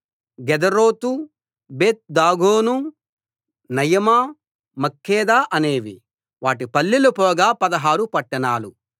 Gederoth Beth Dagon Naamah Makkedah అనేవి వాటి పల్లెలు పోగా పదహారు పట్టణాలు